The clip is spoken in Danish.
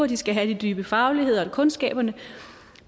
de skal have de dybe fagligheder og kundskaberne